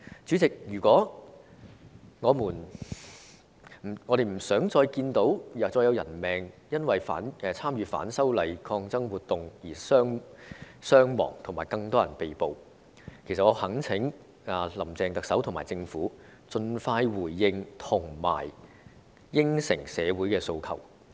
主席，我們不想再看到因為反修例的抗爭活動而造成傷亡，以及有更多人被捕，我懇請"林鄭"特首和政府盡快回應和答應社會的訴求。